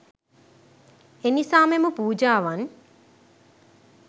එනිසා මෙම පූජාවන්